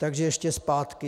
Takže ještě zpátky.